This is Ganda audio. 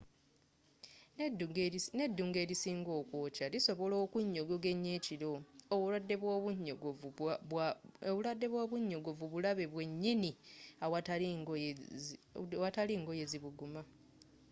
n'eddungu erisinga okwokya lisobola okunnyogoga ennyo ekiro obulwadde bwa obunyogovu bulabe bwennyini awatali ngoye zibuguma